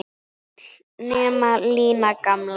Öll nema Lína gamla.